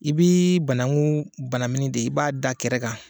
I bɛ banakun banini de i b'a d'a kɛrɛ kan.